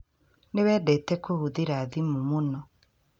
Nĩ wendete kũhũthĩra thimũ mũno